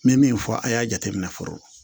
N bɛ min fɔ a y'a jateminɛ fɔlɔ